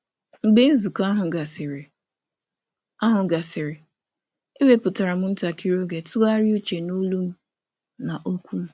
Mgbe nzukọ ahụ gasịrị, m wepụtara oge iji tụgharịa uche n’ụda m na okwu m.